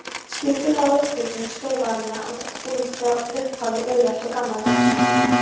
Skipulag og uppbygging stöðvarinnar er frá upphafi úrelt og gamaldags.